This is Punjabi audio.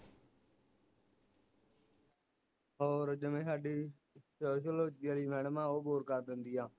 ਹੋਰ ਜਿਵੇ ਹਾਂਡੀ ਸ਼ੋ sociology ਵਾਲੀ madam ਆ ਉਹ bore ਕਰ ਦਿੰਦੀ ਆ